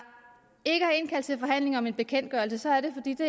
indkaldt til forhandlinger om en bekendtgørelse er det fordi det